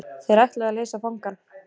Þeir ætluðu að leysa fangann.